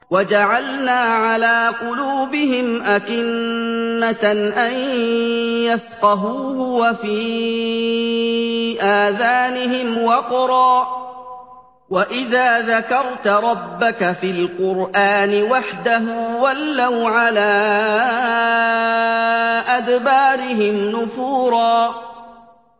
وَجَعَلْنَا عَلَىٰ قُلُوبِهِمْ أَكِنَّةً أَن يَفْقَهُوهُ وَفِي آذَانِهِمْ وَقْرًا ۚ وَإِذَا ذَكَرْتَ رَبَّكَ فِي الْقُرْآنِ وَحْدَهُ وَلَّوْا عَلَىٰ أَدْبَارِهِمْ نُفُورًا